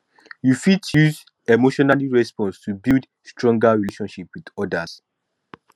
you fit use emotional responses to build stronger relationship with others